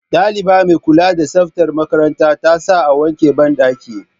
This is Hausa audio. Ɗaliba mai kula da tsaftar makaranta ta sa a wanke banɗaki